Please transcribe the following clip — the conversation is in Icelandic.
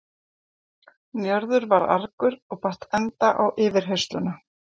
Njörður varð argur og batt enda á yfirheyrsluna.